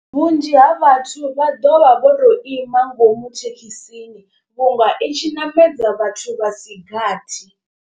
Vhunzhi ha vhathu vha ḓovha vho to ima ngomu thekhisini, vhunga i tshi namedza vhathu vha si gathi.